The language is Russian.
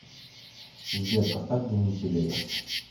сбер поставь димитри вегас